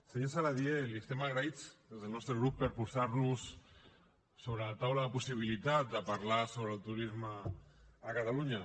senyor saladié li estem agraïts des del nostre grup per posar nos sobre la taula la possibilitat de parlar sobre el turisme a catalunya